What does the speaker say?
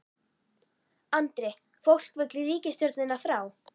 Andri: Fólk vill ríkisstjórnina frá?